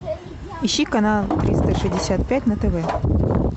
ищи канал триста шестьдесят пять на тв